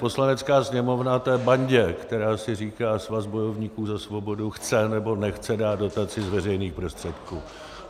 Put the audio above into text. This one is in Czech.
Poslanecká sněmovna té bandě, která si říká Svaz bojovníků za svobodu, chce, nebo nechce dát dotaci z veřejných prostředků.